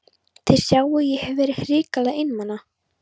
Þið sjáið að ég hef verið hrikalega einmana!